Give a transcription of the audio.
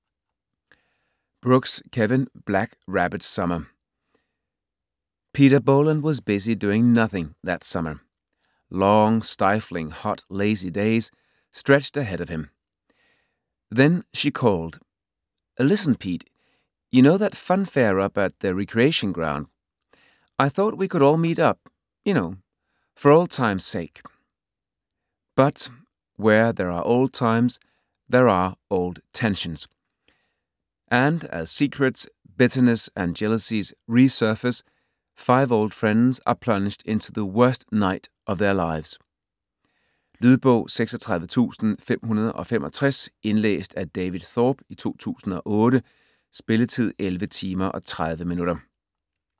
Brooks, Kevin: Black rabbit summer Pete Boland was busy doing nothing that summer. Long, stiflingly hot, lazy days stretched ahead of him. Then she called. 'Listen, Pete ...you know that funfair, up at the recreation ground ...I thought we could all meet up ...You know, for old times' sake.' But, where there are old times, there are old tensions. And as secrets, bitterness and jealousies resurface, five old friends are plunged into the worst night of their lives. Lydbog 36565 Indlæst af David Thorpe, 2008. Spilletid: 11 timer, 30 minutter.